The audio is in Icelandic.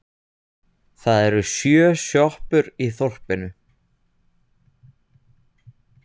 Það eru sjö sjoppur í þorpinu!